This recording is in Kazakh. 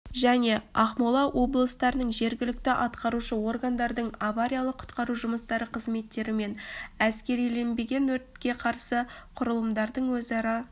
және ақмола облыстарының жергілікті атқарушы органдардың авариялық-құтқару жұмыстары қызметтері мен әскериленбеген өртке қарсы құрылымдардың өзара